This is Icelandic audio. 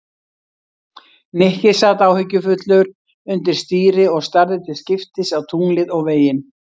Nikki sat áhyggjufullur undir stýri og starði til skiptist á tunglið og veginn.